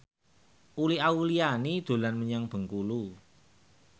Uli Auliani dolan menyang Bengkulu